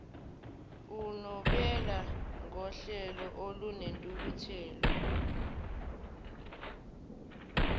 unobela ngohleko olunentukuthelo